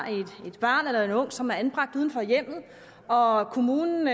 et barn eller en ung som er anbragt uden for hjemmet og og kommunen